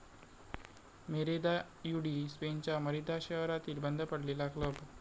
Merida UD स्पेनच्या Merida शहरातील बंद पडलेला क्लब